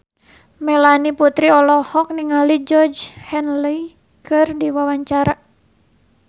Melanie Putri olohok ningali Georgie Henley keur diwawancara